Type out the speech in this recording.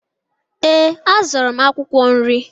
Ee, azụrụ m akwụkwọ nri.